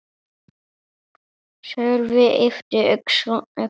Sölvi yppti öxlum.